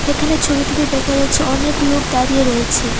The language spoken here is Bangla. এখানে ছবিটিতে দেখা যাচ্ছে অনেক লোক দাঁড়িয়ে রয়েছে।